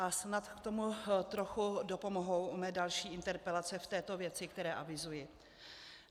A snad k tomu trochu dopomohou mé další interpelace v této věci, které avizuji.